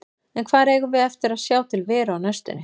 En hvar eigum við eftir að sjá til Veru á næstunni?